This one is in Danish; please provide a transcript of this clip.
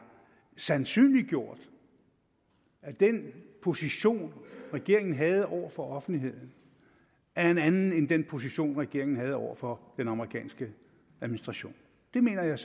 sandsynliggjort at den position regeringen havde over for offentligheden er en anden end den position regeringen havde over for den amerikanske administration det mener jeg